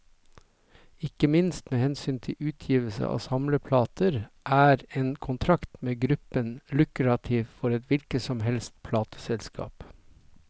Ikke minst med hensyn til utgivelse av samleplater, er en kontrakt med gruppen lukrativt for et hvilket som helst plateselskap.